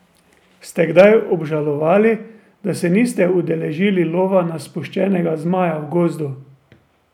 Ste kdaj obžalovali, da se niste udeležili lova na spuščenega zmaja v gozdu?